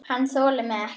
Hann þolir mig ekki.